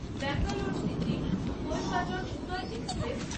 Bangalore city Coimbatore Uday express